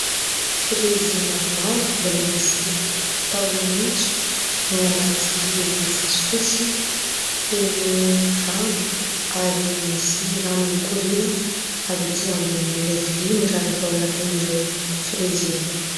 Frezy maromaro, mbola misy tahony maitso, no anaty vilia fotsy fotsy feno rano. Ary misy rano mikoriana avy aty ambonin'ilay vilia, miraraka ao anatin'ireo frezy ireo.